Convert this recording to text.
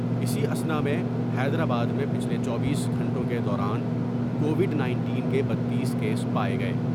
اِسی اثناء میں حیدرآباد میں پچھلے چوبیس گھنٹوں کے دوران کووڈ نائنٹین کے بتتس کیس پاۓ گئے ۔